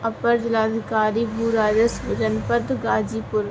upper जिला अधिकारी भू राजस्व जनपथ गाजीपुर --